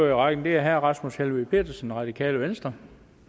i rækken det er herre rasmus helveg petersen radikale venstre